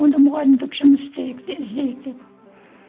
онда мұғалімдік жұмыс істейік іздейік деп